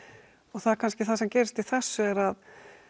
það er kannski það sem gerist í þessu er að